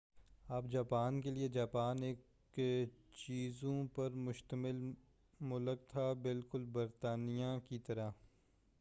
اب جاپان کے لئے جاپان ایک جزیروں پر مُشتمل ملک تھا بالکل برطانیہ کی طرح